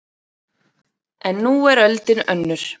En nú er öldin önnur